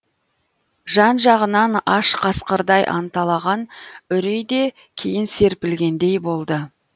жан жағынан аш қасқырдай анталаған үрей де кейін серпілгендей болды